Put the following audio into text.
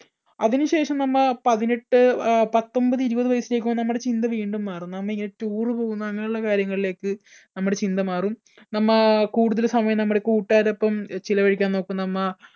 അതിനുശേഷം നമ്മ പതിനെട്ട്, അഹ് പത്തൊൻപത്, ഇരുപത് വയസ്സിലേക്ക് നമ്മുടെ ചിന്ത വീണ്ടും മാറും നാമിങ്ങനെ tour പോകുന്ന അങ്ങനെയുള്ള കാര്യങ്ങളിലേക്ക് നമ്മുടെ ചിന്ത മാറും നമ്മ കൂടുതല് സമയം നമ്മുടെ കൂട്ടുകാരൊപ്പം ചിലവഴിക്കാൻ നോക്കും നമ്മ